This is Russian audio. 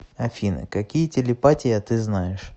афина какие телепатия ты знаешь